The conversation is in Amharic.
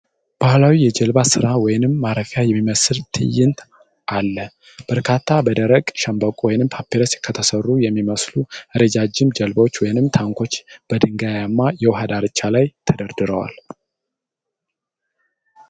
ባሕላዊ የጀልባ ስራ ወይም ማረፊያ የሚመስል ትዕይንትአለ። በርካታ በደረቅ ሸምበቆ ወይም ፓፒረስ ከተሠሩ የሚመስሉ ረዣዥም ጀልባዎች ወይም ታንኳዎች በድንጋያማ የውሃ ዳርቻ ላይ ተደርድረዋል።